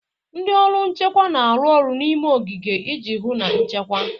Ndị ọrụ nchekwa na-arụ ọrụ n'ime ogige iji hụ na nchekwa.